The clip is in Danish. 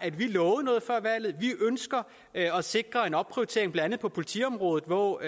at vi lovede noget før valget vi ønsker at sikre en opprioritering blandt andet på politiområdet hvor